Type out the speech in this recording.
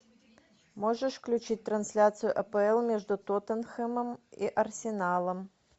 можешь включить трансляцию апл между тоттенхэмом и арсеналом